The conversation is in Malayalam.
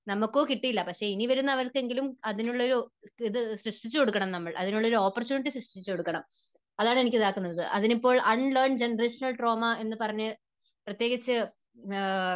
നമുക്കോ കിട്ടിയില്ല എന്ന് വച്ച് ഇനി വരുന്നവർക്ക് എങ്കിലും അതിനുള്ള ഒരു ഇത് സൃഷ്ടിച്ചു കൊടുക്കണം നമ്മൾ. അതിനുള്ള ഒരു ഓപ്പർച്യൂണിറ്റി സൃഷ്ടിച്ചു കൊടുക്കണം. അതാണ് എനിക്ക് ഇത് ആക്കാൻ ഉള്ളത് അതിനിപ്പോൾ അൺലേൺ ജനറേഷനൽ ട്രോമാ എന്ന് പറഞ്ഞ് പ്രത്യേകിച്ച് ആഹ്